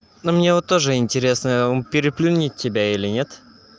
но мне вот тоже интересно он переплюнет тебя или нет